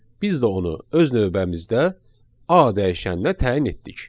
Biz də onu öz növbəmizdə A dəyişəninə təyin etdik.